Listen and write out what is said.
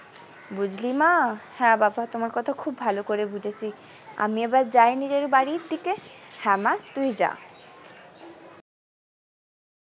বুঝলি মা হ্যাঁ বাবা তোমার কথা খুব ভালো করে বুঝেছি আমি আবার যাই নিজের বাড়ির দিকে হ্যাঁ মা তুই যা।